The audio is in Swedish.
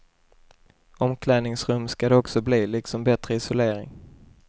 Omklädningsrum ska det också bli, liksom bättre isolering.